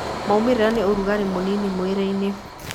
Maumĩrĩra nĩ ũrugarĩ mũnini mwĩrĩ-inĩ.